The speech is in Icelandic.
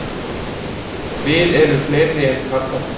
Við erum fleiri en karlarnir